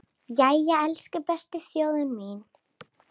Jæja, elsku besta þjóðin mín!